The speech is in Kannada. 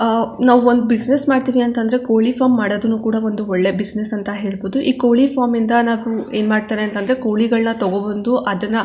ನಾವು ಒಂದು ಬಿಸಿನೆಸ್ ಮಾಡತ್ತಿವಿ ಅಂತ ಅಂದ್ರೆ ಕೋಳಿ ಫಾರಂ ಮಾಡೋದುನು ಕೂಡ ಒಂದು ಒಳ್ಳೆ ಬಿಸಿನೆಸ್ ಅಂತ ಹೇಳಬಹುದು ಈ ಕೋಳಿ ಫಾರಂ ಇಂದ ನಾವು ಏನ್ ಮಾಡತ್ತರೆ ಅಂತ ಅಂದ್ರೆ ಕೋಳಿಗಳನ್ನ ತಕೋ ಬಂದು ಅದನ್ನಾ--